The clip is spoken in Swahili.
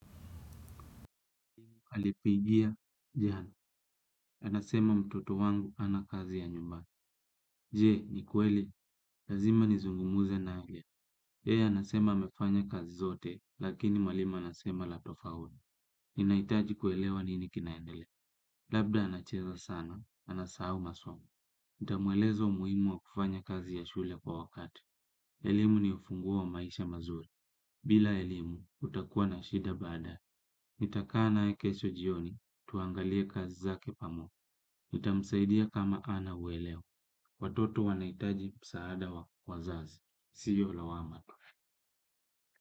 Halipigia, jana. Anasema mtoto wangu ana kazi ya nyumba. Je, ni kweli? Lazima nizungumze nao yeye anasema amefanya kazi zote, lakini mwalimu anasema la tofauti. Ninaitaji kuelewa nini kinaendelea. Labda anacheza sana, anasahau masomo. Ntamueleza umuhimu wa kufanya kazi ya shule kwa wakati. Elimu ni ufunguo wa maisha mazuri. Bila elimu, utakua na shida badaa. Nitakaa naye kesho jioni, tuangalie kazi zake pamo. Ntamsaidia kama ana uweleo. Watoto wanaitaji msaada wa, wazazi. Siyo lawama.